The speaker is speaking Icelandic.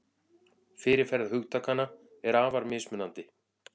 Fyrirferð hugtakanna er afar mismunandi.